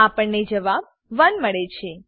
આપણને જબાબ 1 મળે છે